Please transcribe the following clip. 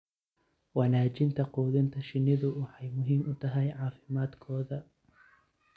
Wanaajinta quudinta shinnidu waxay muhiim u tahay caafimaadkooda.